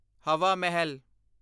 ਹਵਾ ਮਹਿਲ